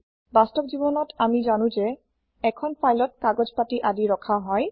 বাস্তৱ জীৱনত আমি যানো যে এখন ফাইলত কাগজ পাতি আদি ৰখা হয়